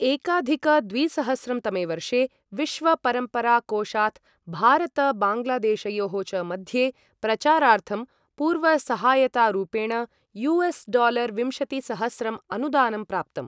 एकाधिक द्विसहस्रं तमे वर्षे, विश्व परम्परा कोषात् भारत बाङ्ग्लादेशयोः च मध्ये प्रचारार्थं, पूर्वसहायतारूपेण यु.एस्.डालार विंशतिसहस्रं अनुदानं प्राप्तम्।